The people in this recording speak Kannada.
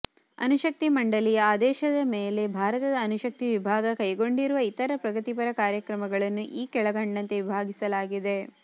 ಅಣುಶಕ್ತಿಮಂಡಲಿಯ ಆದೇಶದ ಮೇಲೆ ಭಾರತದ ಅಣುಶಕ್ತಿವಿಭಾಗ ಕೈಕೊಂಡಿರುವ ಇತರ ಪ್ರಗತಿಪರ ಕಾರ್ಯಕ್ರಮಗಳನ್ನು ಈ ಕೆಳಕಂಡಂತೆ ವಿಭಾಗಿಸಲಾಗಿದೆ